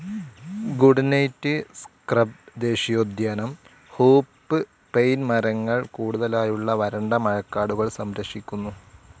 Good night scrub ദേശീയോദ്യാനം hoop pine മരങ്ങൾ കൂടുതലായുള്ള വരണ്ട മഴക്കാടുകൾ സംരക്ഷിക്കുന്നു.